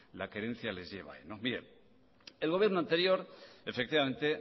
la querencia les lleva ahí el gobierno anterior efectivamente